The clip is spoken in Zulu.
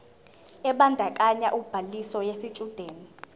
ebandakanya ubhaliso yesitshudeni